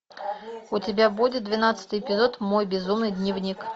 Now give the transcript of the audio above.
у тебя будет двенадцатый эпизод мой безумный дневник